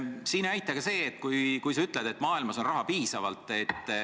Siin ei aita ka see, kui sa ütled, et maailmas on raha piisavalt.